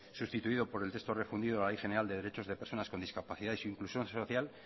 sustituido por el texto refundido de la ley general de derechos de personas con discapacidad e inclusión social